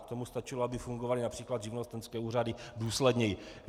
K tomu stačilo, aby fungovaly například živnostenské úřady důsledněji.